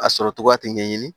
A sɔrɔ cogoya tɛ ɲɛɲini